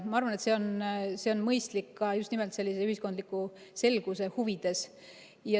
Ma arvan, et see on mõistlik ka just nimelt sellise ühiskondliku selguse huvides.